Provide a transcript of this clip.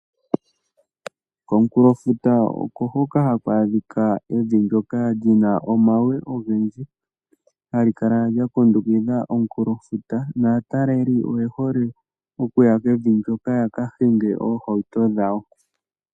Komukulofuta oko hoka haku adhika evi ndyoka li na omawe ogendji hali kala lyakundukitha omukulofuta naataleli oye hole okuya kevi ndyoka yaka hinge oohauto dhawo.